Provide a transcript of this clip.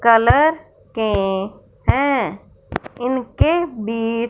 colour के हैं इनके बीच--